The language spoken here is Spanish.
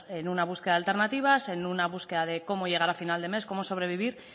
en una búsqueda de alternativas en una búsqueda de cómo llegar a final de mes cómo sobrevivir